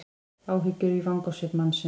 Áhyggja í vangasvip mannsins.